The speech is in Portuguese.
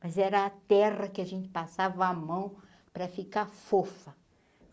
Mas era a terra que a gente passava a mão para ficar fofa.